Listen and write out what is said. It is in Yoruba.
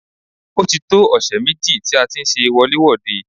Ó ti tó ọ̀sẹ̀ méjì tí a ti ń ṣe wọlé-wòde.